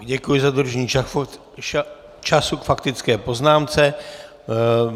Děkuji za dodržení času k faktické poznámce.